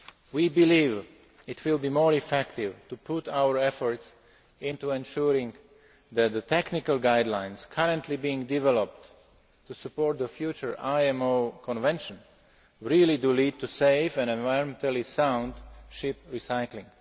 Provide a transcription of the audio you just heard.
We believe it will be more effective to put our efforts into ensuring that the technical guidelines currently being developed to support the future IMO Convention really do lead to safe and environmentally sound ship recycling.